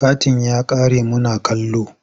Katin ya ƙare muna kallo.